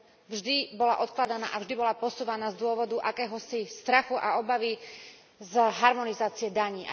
Vždy bola odkladaná a vždy bola posúvaná z dôvodu akéhosi strachu a obavy z harmonizácie daní.